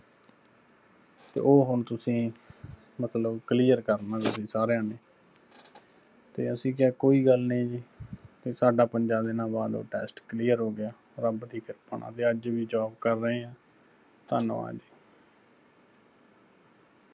ਤੇ ਉਹ ਹੁਣ ਤੁਸੀਂ ਮਤਲਬ clear ਕਰਣਾ ਤੁਸੀਂ ਸਾਰਿਆਂ ਨੇ ਤੇ ਅਸੀਂ ਕਿਹਾ ਕੋਈ ਗੱਲ ਨਹੀਂ ਜੀ, ਤੇ ਸਾਡਾ ਪੰਜਾ ਦਿਨਾਂ ਬਾਅਦ ਓਹ test clear ਹੋ ਗਿਆ ਰੱਬ ਦੀ ਕਿਰਪਾ ਨਾਲ, ਤੇ ਅੱਜ ਵੀ job ਕਰ ਰਹੇ ਆਂ। ਧੰਨਵਾਦ ਜੀ।